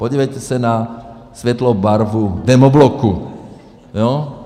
Podívejte se na světlou barvu demobloku.